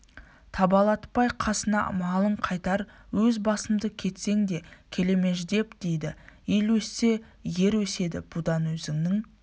табалатпай қасына малын қайтар өз басымды кетсең де келемеждеп дейді ел өссе ер өседі бұдан өзінің